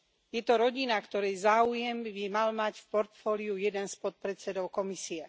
Je to rodina, ktorej záujem by mal mať v portfóliu jeden z podpredsedov Komisie.